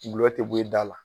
Gulɔ te bɔ e da la.